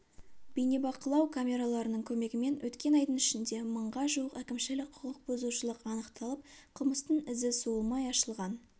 бейнебақылау камераларының көмегімен өткен айдың ішінде мыңға жуық әкімшілік құқық бұзушылық анықталып қылмыстың ізі суымай ашылған